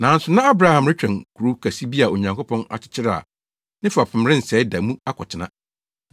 Nanso na Abraham retwɛn kurow kɛse bi a Onyankopɔn akyekyere a ne fapem rensɛe da mu akɔtena.